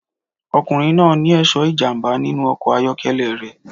Ọkùnrin náà ní ẹ̀ṣọ́ ìjàmbá nínú ọkọ̀ ayọ́kẹ́lẹ́ rẹ̀